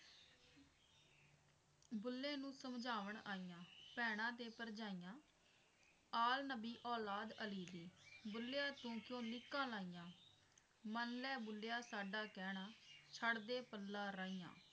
ਬੁੱਲੇ ਨੂੰ ਸਮਝਾਵਣ ਆਈਆਂ ਭੈਣਾਂ ਤੇ ਭਰਜਾਈਆਂ ਆਲ ਨਬੀ ਔਲਾਦ ਅਲੀ ਕੀ ਬੁੱਲਿਆ ਚੁਣ ਚੁਣ ਲੀਕਾਂ ਲਾਈਆਂ ਮੰਨ ਲੈ ਬੁੱਲਿਆ ਸਾਡਾ ਕਹਿਣਾ ਛੱਡਦੇ ਪੱਲਾ ਰਾਈਆਂ